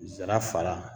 Zara